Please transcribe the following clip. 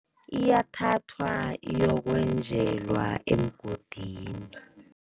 Iyathathwa iyokwenjelwa emgodini.